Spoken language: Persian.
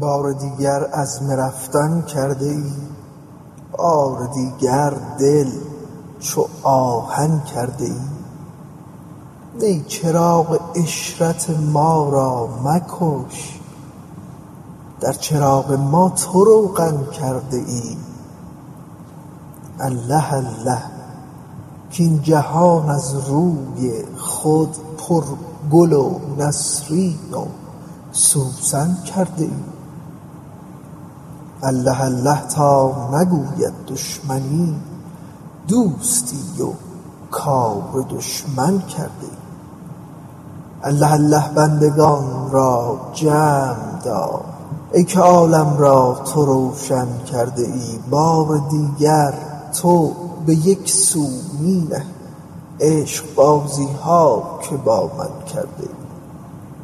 بار دیگر عزم رفتن کرده ای بار دیگر دل چو آهن کرده ای نی چراغ عشرت ما را مکش در چراغ ما تو روغن کرده ای الله الله کاین جهان از روی خود پرگل و نسرین و سوسن کرده ای الله الله تا نگوید دشمنی دوستی و کار دشمن کرده ای الله الله بندگان را جمع دار ای که عالم را تو روشن کرده ای بار دیگر تو به یک سو می نهی عشقبازی ها که با من کرده ای